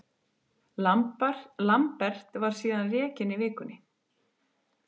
Lambert var síðan rekinn í vikunni.